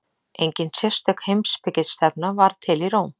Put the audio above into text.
Engin sérstök heimspekistefna varð til í Róm.